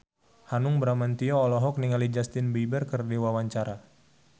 Hanung Bramantyo olohok ningali Justin Beiber keur diwawancara